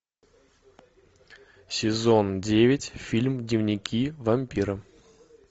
сезон девять фильм дневники вампира